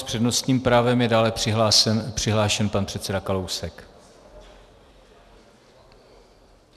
S přednostním právem je dále přihlášen pan předseda Kalousek.